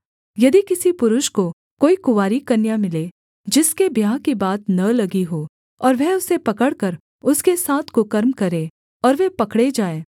यदि किसी पुरुष को कोई कुँवारी कन्या मिले जिसके ब्याह की बात न लगी हो और वह उसे पकड़कर उसके साथ कुकर्म करे और वे पकड़े जाएँ